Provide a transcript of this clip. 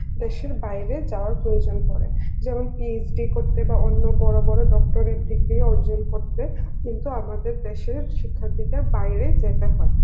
দেশের বাইরে যাওয়ার প্রয়োজন পড়ে, যেমন PhD বা অন্য বড় বড় docterate degree ও অর্জন করতে কিন্তু আমাদের দেশের শিক্ষার্থীদের বাইরে যেতে হয়